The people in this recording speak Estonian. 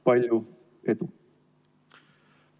Palju edu!